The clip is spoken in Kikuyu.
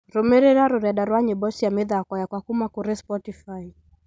Rũmĩrĩra rurenda rwa rwĩmbo cia mithako yakwa kuuma kũrĩ Spotify